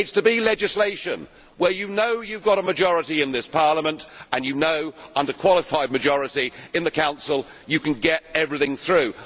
It is to be legislation where you know you have a majority in this Parliament and you know, under qualified majority in the Council, you can get everything through.